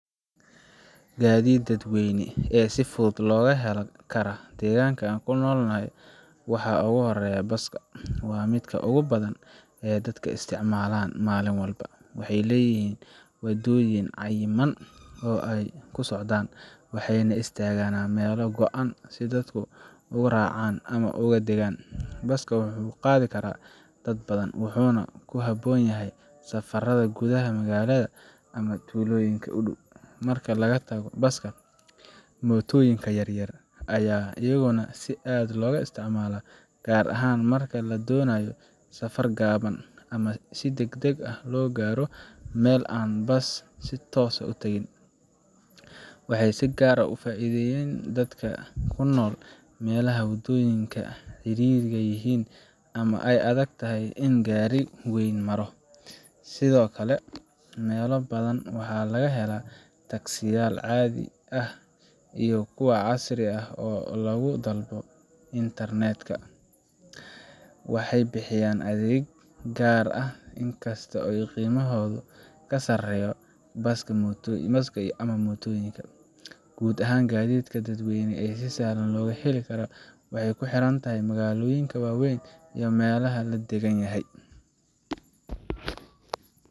Gaadiidka dadweyne ee si fudud looga heli kara deegaanka aan ku noolahay waxa ugu horreeya baska waa midka ugu badan ee dadka isticmaalaan maalin walba. Waxay leeyihiin waddooyin cayiman oo ay ku socdaan, waxayna istaagaana meelo go’an si dadku uga raacaan ama uga degaan. Baska wuxuu qaadi karaa dad badan, wuxuuna ku habboon yahay safarada gudaha magaalada ama tuulooyinka u dhow. Marka laga tago baska, mootooyinka yar yar ayaa iyaguna si aad ah looga isticmaalaa, gaar ahaan marka la doonayo safar gaaban ama in si degdeg ah loo gaaro meel aan baska si toos ah u tagin. Waxay si gaar ah uga faa’iideeyaan dadka ku nool meelaha waddooyinku cidhiidhi yihiin ama ay adag tahay in gaari weyn maro. Sidoo kale, meelo badan waxaa laga helaa taksiyaal caadi ah iyo kuwa casriga ah oo lagu dalbado internet ka . Waxay bixiyaan adeeg gaar ah, inkasta oo qiimahoodu ka sarreeyo kan baska ama mootooyinka. Guud ahaan, gaadiidka dadweyne ee si sahlan loo heli karo wuu ku xiranyahay magaalooyinka waaweyn iyo meelaha la daggan yahay.